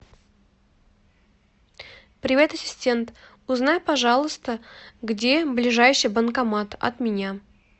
привет ассистент узнай пожалуйста где ближайший банкомат от меня